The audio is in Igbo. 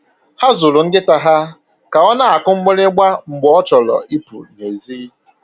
Ha zụrụ nkịta ha ka ọ na-akụ mgbịrịgba mgbe ọ chọrọ ịpụ nèzí